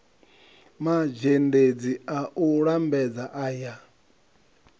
mazhendedzi a u lambedza aya